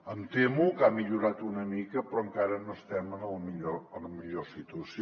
em temo que ha millorat una mica però encara no estem en la millor situació